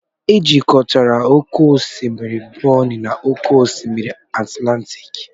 Ejikọtara oke osimiri Bonny na oke osimiri Atlantic.